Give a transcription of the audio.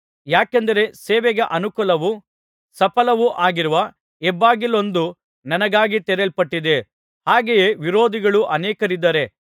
ಯಾಕೆಂದರೆ ಸೇವೆಗೆ ಅನುಕೂಲವೂ ಸಫಲವೂ ಆಗಿರುವ ಹೆಬ್ಬಾಗಿಲೊಂದು ನನಗಾಗಿ ತೆರೆಯಲ್ಪಟ್ಟಿದೆ ಹಾಗೆಯೇ ವಿರೋಧಿಗಳೂ ಅನೇಕರಿದ್ದಾರೆ